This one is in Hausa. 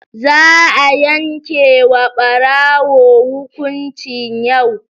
Za'a yanke wa ɓarawo hukuncin yau